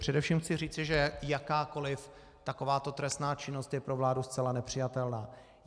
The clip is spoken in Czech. Především chci říci, že jakákoli takováto trestná činnost je pro vládu zcela nepřijatelná.